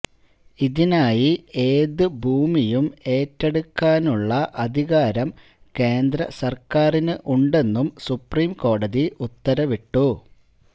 ഇതിനായി ഏത് ഭൂമിയും ഏറ്റെടുക്കാനുള്ള അധികാരം കേന്ദ്ര സർക്കാരിന് ഉണ്ടെന്നും സുപ്രിംകോടതി ഉത്തരവിട്ടു